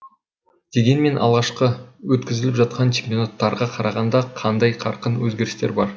дегенмен алғашқы өткізіліп жатқан чемпионаттарға қарағанда қандай қарқын өзгерістер бар